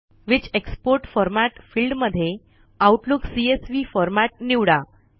which export format field मध्ये Outlook CSV format निवडा